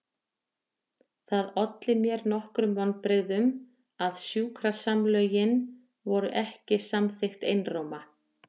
Það olli mér nokkrum vonbrigðum að sjúkrasamlögin voru ekki samþykkt einróma.